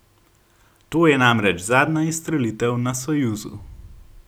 To je namreč zadnja izstrelitev na Sojuzu.